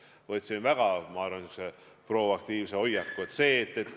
Ma võtsin enda arvates niisuguse proaktiivse hoiaku.